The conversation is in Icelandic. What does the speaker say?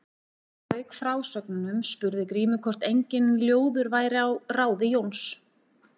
Þegar hann lauk frásögnunum spurði Grímur hvort enginn ljóður væri á ráði Jóns.